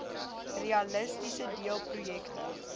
realisties deel projekte